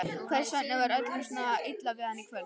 Hvers vegna var öllum svona illa við hann í kvöld?